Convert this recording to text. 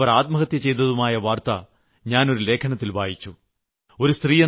പിന്നീട് അവർ ആത്മഹത്യ ചെയ്തതുമായ വാർത്ത ഞാൻ ഒരു ലേഖനത്തിൽ വായിച്ചു